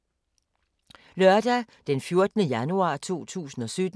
Lørdag d. 14. januar 2017